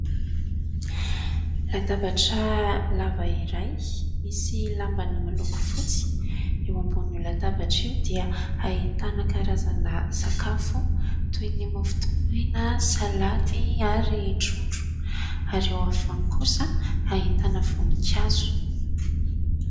Latabatra lava iray misy lamba miloko fotsy eo ambonin'ny latabatra eo dia ahitana karazana sakafo toy ny mofo dipaina, salady ary trondro ; ary eo afovoany kosa ahitana voninkazo.